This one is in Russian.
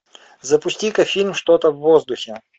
запусти ка фильм что то в воздухе